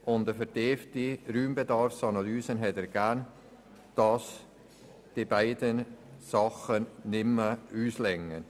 Eine vertiefte Raumbedarfsanalyse hat ergeben, dass die beiden Mietobjekte nicht mehr ausreichen.